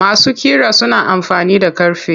Masu ƙira suna amfani da ƙarfe.